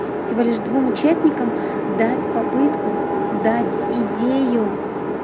всего лишь двум участникам дать попытку дать идею